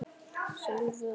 Sólveig og Bjarni.